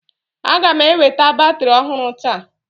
a ga m eweta batrị ọhụrụ taa